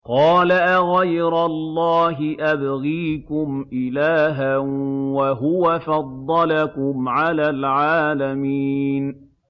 قَالَ أَغَيْرَ اللَّهِ أَبْغِيكُمْ إِلَٰهًا وَهُوَ فَضَّلَكُمْ عَلَى الْعَالَمِينَ